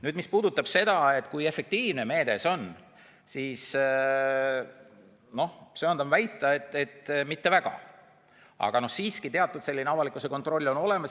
Nüüd, mis puudutab seda, kui efektiivne meede see on, siis ma söandan väita, et mitte väga, aga siiski teatud avalikkuse kontroll on olemas.